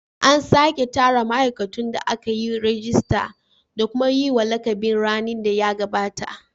An sake tsara ma'aikatun da aka yi rajista da kuma yi wa lakabin rani da ya gabata.